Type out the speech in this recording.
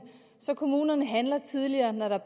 så kommunerne handler tidligere når der